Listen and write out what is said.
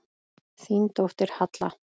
Þín dóttir, Halla.